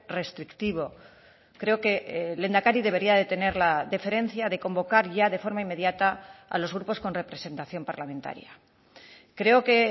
restrictivo creo que el lehendakari debería de tener la deferencia de convocar ya de forma inmediata a los grupos con representación parlamentaria creo que